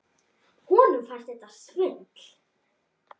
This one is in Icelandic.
Honum fannst þetta svindl.